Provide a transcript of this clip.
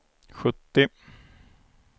sjuttio